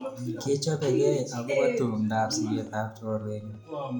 Kechopekey akopo tumndap siget ap chorwenyo.